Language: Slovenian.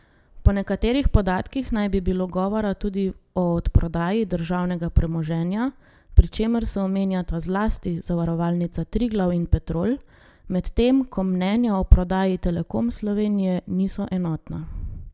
Po nekaterih podatkih naj bi bilo govora tudi o odprodaji državnega premoženja, pri čemer se omenjata zlasti Zavarovalnica Triglav in Petrol, medtem ko mnenja o prodaji Telekom Slovenije niso enotna.